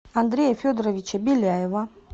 андрея федоровича беляева